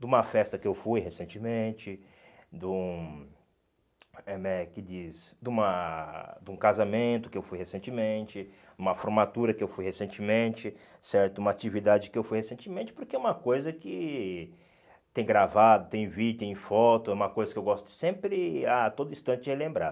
de uma festa que eu fui recentemente, de um é como é que diz de uma de um casamento que eu fui recentemente, uma formatura que eu fui recentemente, certo, uma atividade que eu fui recentemente, porque é uma coisa que tem gravado, tem vídeo, tem foto, é uma coisa que eu gosto sempre, a todo instante, de relembrar.